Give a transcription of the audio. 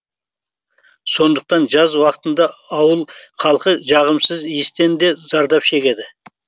сондықтан жаз уақытында ауыл халқы жағымсыз иістен де зардап шегеді